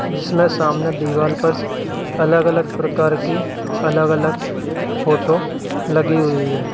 जिसमें सामने दीवाल पर अलग अलग प्रकार के अलग अलग फोटो लगे हुए हैं।